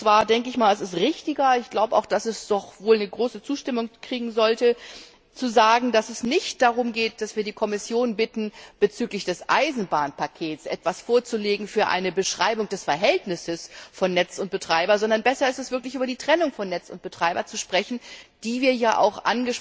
Ich denke, es ist richtiger und sollte auch große Zustimmung finden zu sagen, dass es nicht darum geht, dass wir die Kommission bitten, bezüglich des Eisenbahnpakets etwas vorzulegen für eine Beschreibung des Verhältnisses von Netz und Betreiber, sondern besser ist es wirklich, über die Trennung von Netz und Betreiber zu sprechen, die wir auch